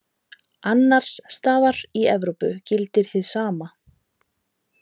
Annars staðar í Evrópu gildir hið sama.